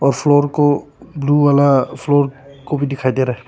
Floor को blue वाला floor को भी दिखाई दे रहा है।